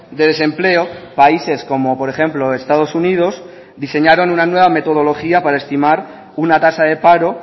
de desempleo países como por ejemplo estados unidos diseñaron una nueva metodología para estimar una tasa de paro